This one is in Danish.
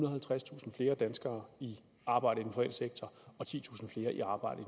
og halvtredstusind flere danskere i arbejde i den private sektor og titusind flere i arbejde